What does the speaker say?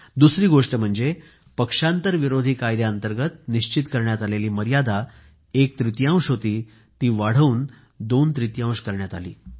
दुसरी गोष्ट म्हणजे पक्षांतर विरोधी कायद्याअंतर्गत निश्चित करण्यात आलेली मर्यादा एकतृतियांश होती ती वाढवून दोनतृतियांश करण्यात आली